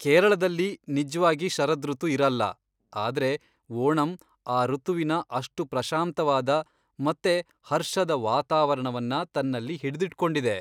ಕೇರಳದಲ್ಲಿ ನಿಜ್ವಾಗಿ ಶರದೃತು ಇರಲ್ಲ, ಆದ್ರೆ ಓಣಂ ಆ ಋತುವಿನ ಅಷ್ಟು ಪ್ರಶಾಂತವಾದ ಮತ್ತೆ ಹರ್ಷದ ವಾತಾವರಣವನ್ನ ತನ್ನಲ್ಲಿ ಹಿಡ್ದಿಟ್ಕೊಂಡಿದೆ.